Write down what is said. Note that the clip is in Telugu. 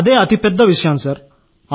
అదే అతి పెద్ద విషయం సార్